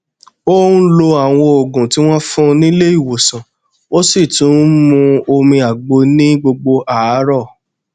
ó n lo àwọn òògùn tí wọn fún nílé ìwòsànó sì tún n mu omi àgbo ní gbogbo àárọ